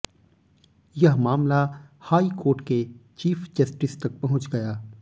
यह मामला high court के चीफ जस्टिस तक पहुंच गया